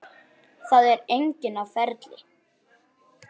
Það er enginn á ferli.